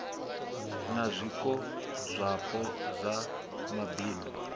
na zwiko zwapo sa mabindu